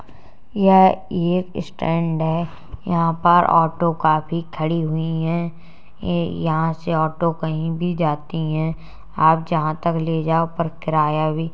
यह ये एक स्टैंड है। यहाँ पर ऑटो काफी खड़ी हुई हैं। ये यहाँ से ऑटो कहीं भी जाती हैं। आप जहां तक ले जाओ पर किराया भी --